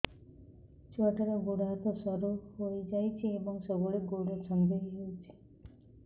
ଛୁଆଟାର ଗୋଡ଼ ହାତ ସରୁ ହୋଇଯାଇଛି ଏବଂ ସବୁବେଳେ ଗୋଡ଼ ଛଂଦେଇ ହେଉଛି